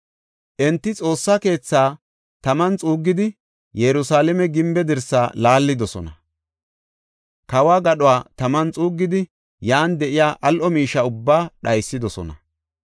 Enti Xoossa keethaa taman xuuggidi, Yerusalaame gimbe dirsaa laallidosona. Kawo gadhuwa taman xuuggidi, yan de7iya al7o miishe ubbaa dhaysidosona.